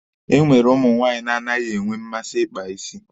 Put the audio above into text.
E nwere ụmụ nwaanyị na-anaghị enwe mmasị ịkpa isi.